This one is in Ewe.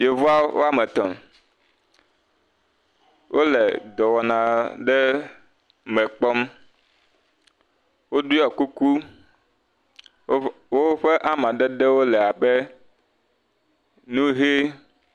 Yeawo woame etɔ, wole dɔwɔna ɖe mekpɔm. woɖɔe kuku, woƒe amadede wole ʋie.